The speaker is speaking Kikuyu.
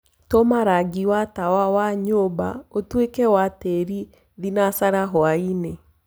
tuma rangĩ wa tawa wa nyũmba ũtũĩke wa tiiri thĩnacara hwaĩnĩ